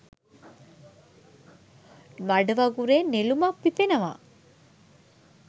මඩ වගුරේ නෙළුමක් පිපෙනවා.